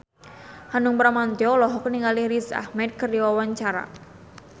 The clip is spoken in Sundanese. Hanung Bramantyo olohok ningali Riz Ahmed keur diwawancara